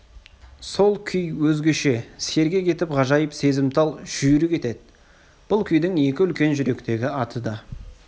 сол күй өзгеше сергек етіп ғажайып сезімтал жүйрік етеді бұл күйдің екі үлкен жүректегі аты да